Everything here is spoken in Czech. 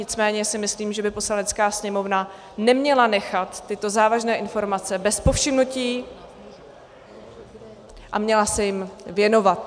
Nicméně si myslím, že by Poslanecká sněmovna neměla nechat tyto závažné informace bez povšimnutí a měla se jim věnovat.